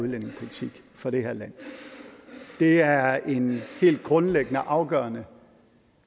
udlændingepolitik for det her land det er en helt grundlæggende og afgørende